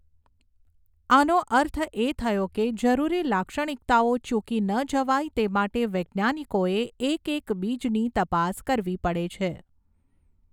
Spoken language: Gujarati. આનો અર્થ એ થયો કે જરૂરી લાક્ષણિકતાઓ ચૂકી ન જવાય તે માટે વૈજ્ઞાનિકોએ એક એક બીજની તપાસ કરવી પડે છે.